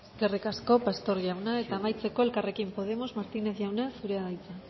eskerrik asko pastor jauna eta amaitzeko elkarrekin podemos martinez jauna zurea da hitza